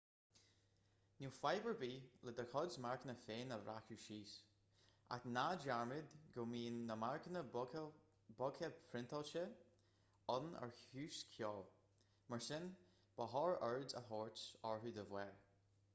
níl fadhb ar bith le do chuid marcanna féin a bhreacadh síos ach ná dearmad go mbíonn na marcanna boghta priontáilte ann ar chúis ceoil mar sin ba chóir aird a thabhairt orthu dá bharr